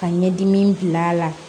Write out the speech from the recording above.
Ka ɲɛdimi bila a la